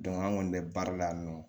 an kɔni bɛ baara la yan nɔ